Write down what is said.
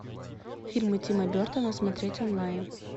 фильмы тима бертона смотреть онлайн